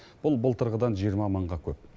бұл былтырғыдан жиырма мыңға көп